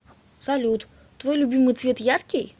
салют твой любимый цвет яркий